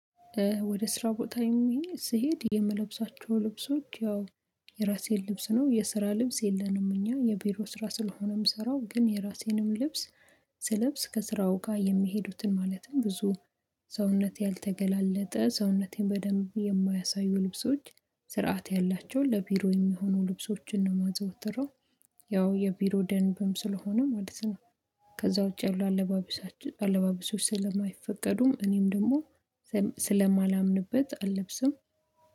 ወደ ስራ ቦታ ይሄን ስሄድ የምለብሳቸው ልብሶች ያው የራሴን ልብስ ነው የስራ ልብስ የለንም እኛ የቢሮ ስራ ስለሆነ የምሰራው ግን የራሴንም ልብስ ስለብስ ከስራው ጋር የሚሄዱትን ማለትም ብዙ ሰውነት ያልተገላለጠ ሰውነቴን በደንብ የማያሳዩ ልብሶች ስርዓት ያላቸው ለቢሮ የሚሆኑ ልብሶችን ነው የማዘወትረው። ያው የቢሮ ደንብም ስለሆነ ማለት ነው። ከዛ ውጪ ያሉ አለባቢሶች አለባቢሶች ስለማይፈቀዱም እኔም ደግሞ ስለማላምንበት አልለብስም